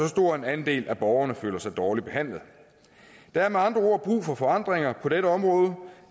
stor andel af borgerne føler sig dårligt behandlet der er med andre ord brug for forandringer på dette område